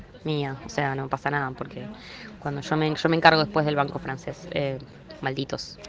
зелёнку принцесс